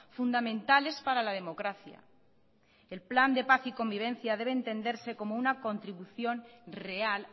fundamentales para la democracia el plan de paz y convivencia debe entenderse como una contribución real